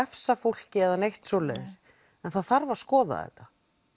refsa fólki eða neitt svoleiðis en það þarf að skoða þetta